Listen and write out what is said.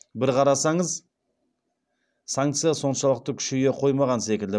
бір қарасаңыз санкция соншалықты күшейе қоймаған секілді